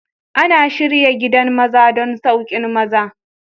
Ana shirya gidan maza don masauƙin maza.